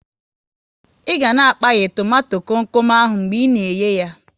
Ị ga na a kpaya tomato kom kom ahụ mgbe ị na eye yá